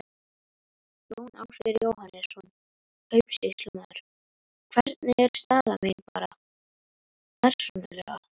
Jón Ásgeir Jóhannesson, kaupsýslumaður: Hvernig er staða mín. bara persónulega?